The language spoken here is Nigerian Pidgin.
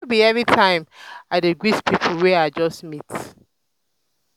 no be everytime i dey greet pipo wey i just meet.